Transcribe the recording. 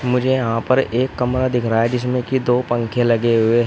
मुझे यहां पर एक कमरा दिख रहा है जिसमें की दो पंखे लगे हुए।